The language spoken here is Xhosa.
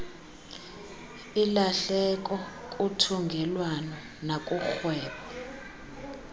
ilahleko kuthungelwano nakurhwebo